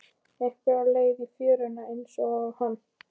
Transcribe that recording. Einhver á leið í fjöruna einsog hann.